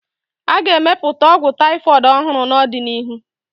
A ga-emepụta ọgwụ taifọịd ọhụrụ n'ọdịnihu.